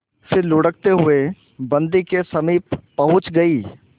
फिर लुढ़कते हुए बन्दी के समीप पहुंच गई